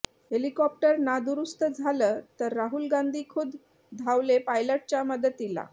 helicopter नादुरुस्त झालं तर राहुल गांधी खुद्द धावले पायलटच्या मदतीला